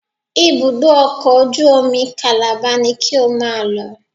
Ibùdó ọkọ̀ ojú omi Calabar ni ki o máa lọ